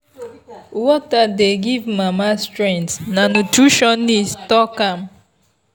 water dey give mama strength na nutritionist talk am.